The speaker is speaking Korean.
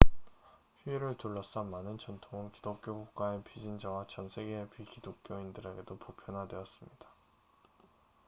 휴일을 둘러싼 많은 전통은 기독교 국가의 비신자와 전 세계의 비기독교인들에게도 보편화되었습니다